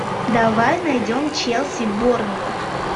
давай найдем челси борнмут